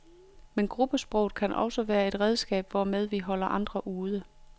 Men gruppesproget kan også være et redskab, hvormed vi holder andre ude.